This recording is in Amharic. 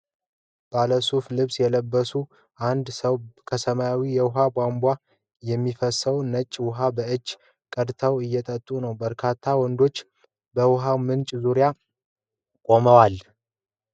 ባለሱፍ ልብስ የለበሰ አንድ ሰው ከሰማያዊ የውሃ ቧንቧ የሚፈሰውን ነጭ ውሃ በእጁ ቀድቶ እየጠጣ ነው። በርካታ ወንዶች በውሃው ምንጭ ዙሪያ ቆመዋል።